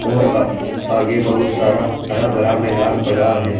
और अह आगे बहुत सारा हरा भरा मैदान पड़ा है।